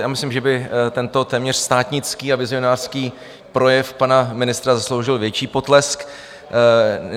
Já myslím, že by tento téměř státnický a vizionářský projev pana ministra zasloužil větší potlesk.